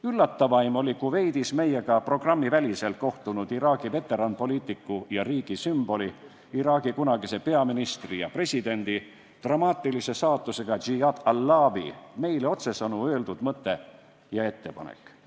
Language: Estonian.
Üllatavaim oli Kuveidis meiega programmiväliselt kohtunud Iraagi veteranpoliitiku ja riigi sümboli, Iraagi kunagise peaministri ja presidendi, dramaatilise saatusega Iyad Allawi meile otsesõnu öeldud mõte ja ettepanek.